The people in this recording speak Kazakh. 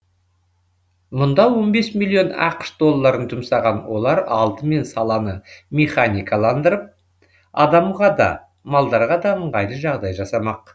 мұнда он бес миллион ақш долларын жұмсаған олар алдымен саланы механикаландырып адамға да малдарға да ыңғайлы жағдай жасамақ